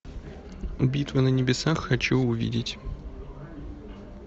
битва на небесах хочу увидеть